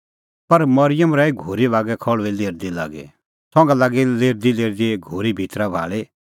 पर मरिअम रही घोरी बागै खल़्हुई लेरदी लागी संघा लागी लेरदीलेरदी घोरी भितरी भाल़ी